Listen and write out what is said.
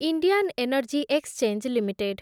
Indian energy exchange limited